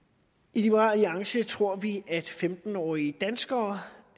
i liberal alliance tror vi at femten årige danskere